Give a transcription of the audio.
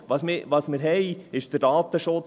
Was wir haben, ist der Datenschutz;